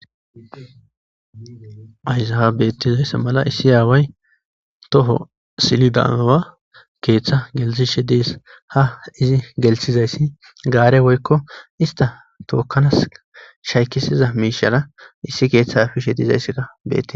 Ayzaha beettizayssa mala issi aaway toho silidaawa keeththa geltishe dees ha izi gelshizayssi gaare woykko ista tookkanas shaykisiza miishara issi keeththa hafiishe diizayssekka bette